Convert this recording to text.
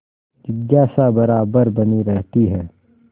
जिज्ञासा बराबर बनी रहती है